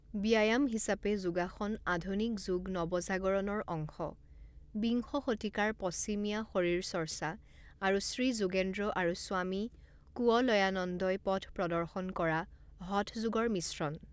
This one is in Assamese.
ব্যায়াম হিচাপে যোগাসন আধুনিক যোগ নৱজাগৰণৰ অংশ, বিংশ শতিকাৰ পশ্চিমীয়া শৰীৰচৰ্চা আৰু শ্ৰী যোগেন্দ্ৰ আৰু স্বামী কুৱলয়ানন্দই পথ প্ৰদৰ্শন কৰা হঠ যোগৰ মিশ্ৰণ।